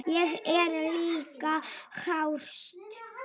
Ég er líka hraust.